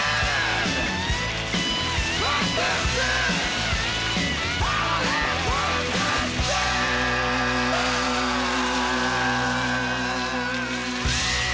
við